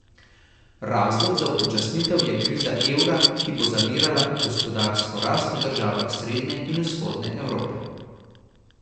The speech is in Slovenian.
Razlog za upočasnitev je kriza evra, ki bo zavirala gospodarsko rast v državah srednje in vzhodne Evrope.